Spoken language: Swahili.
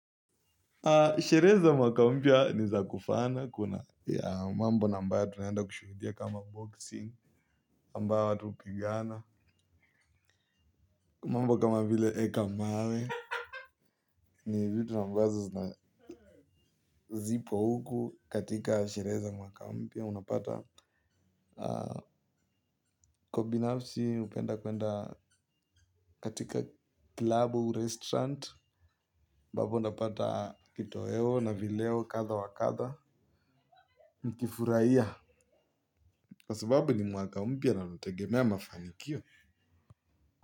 Sheree za mwaka mpya ni za kufana kuna ya mambo na mbaya tunaenda kushuhudia kama boxing ambayo watu upigana mambo kama vile eka mawe. Ni vitu na mbazo na zipo huku katika shere za mwaka mpya unapata. Kwa binafsi upenda kwenda katika klabu restaurant ambapo napata kitoeo na vileo katha wa katha nkifuraiya. Kwa sababu ni mwaka mpya na nategemea mafanikio.